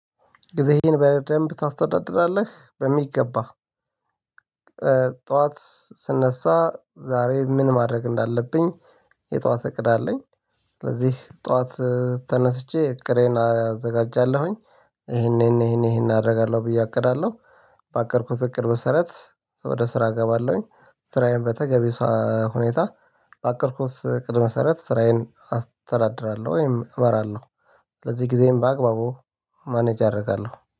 ጊዜህን በደንብ ታስተዳድራለህ በሚገባ ጠዋት ስነሳ ዛሬ ምን ማድረግ እንዳለብኝ? የጠዋት እቅድ አለኝ ስለዚህ ጠዋት ተነስቼ እቅሬን አዘጋጃለሁኝ ይሄን ይሄን ይሄን አደርጋለሁ ብዬ አቅዳለሁ። ባቀድኩት እቅድ ስራት ወደ ስራ እገባለሁኝ ስራዬን በተገቢ ሰው ሁኔታ ባቀድኩት እቅድ መሰረት ስራዬን አስተዳድራለሁ ወይም እመራለሁ። ለዚህ ጊዜም በአግባቡ ማኔጅ አደርጋለሁ